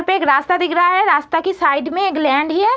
यहां पे क रास्ता देख रहा है रास्ता के साइड में एक लैंड है ये।